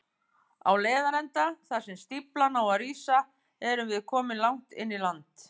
Á leiðarenda, þar sem stíflan á að rísa, erum við komin langt inn í land.